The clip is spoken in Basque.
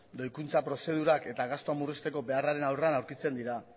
doikuntza prozedurak eta gastuak murrizteko beharrean aurrean aurkitzen dira